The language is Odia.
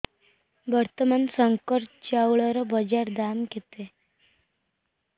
ବର୍ତ୍ତମାନ ଶଙ୍କର ଚାଉଳର ବଜାର ଦାମ୍ କେତେ